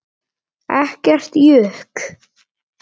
Ekkert jukk.